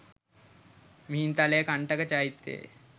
Mihintale Kantaka චෛත්‍යයේ